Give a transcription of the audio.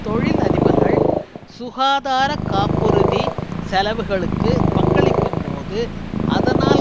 தொழில் அதிபர்கள் சுகாதார காப்புறுதி செலவுகளுக்கு பங்களிக்கும்போது அதனால்